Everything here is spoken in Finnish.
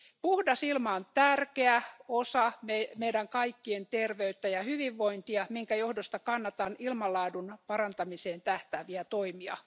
Puhdas ilma on tärkeä osa meidän kaikkien terveyttä ja hyvinvointia, minkä johdosta kannatan ilmanlaadun parantamiseen tähtääviä toimia.